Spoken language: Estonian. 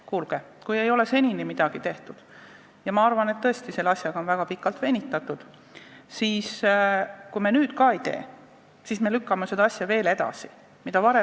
Kuulge, kui ei ole senini midagi tehtud ja ma arvan, et tõesti sellega on väga pikalt venitatud, siis kui me nüüd ka ei tee, siis me lükkame seda veel edasi!